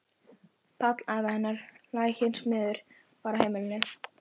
Páll afi hennar, laginn smiður, var í heimilinu.